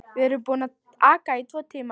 Við erum búin að aka í tvo tíma.